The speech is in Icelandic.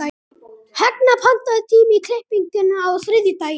Högna, pantaðu tíma í klippingu á þriðjudaginn.